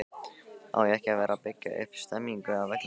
Á ekki að vera að byggja upp stemningu á vellinum??